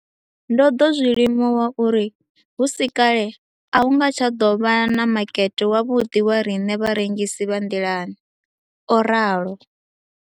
Ndo ḓo zwi limuwa uri hu si kale a hu nga tsha ḓo vha na makete wavhuḓi wa riṋe vharengisi vha nḓilani, o ralo.